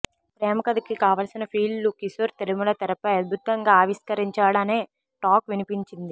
ప్రేమకథకి కావలసిన ఫీల్ ను కిషోర్ తిరుమల తెరపై అద్భుతంగా ఆవిష్కరించాడనే టాక్ వినిపించింది